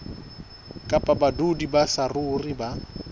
kapa badudi ba saruri ba